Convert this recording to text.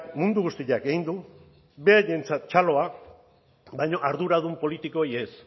mundu guztiak egin du beraientzat txaloa baina arduradun politikoei ez